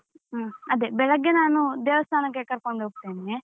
ಹ ಅದೇ ಬೆಳಿಗ್ಗೆ ನಾನು ದೇವಸ್ತಾನಕ್ಕೆ ಕರ್ಕೊಂಡು ಹೋಗ್ತೇನೆ.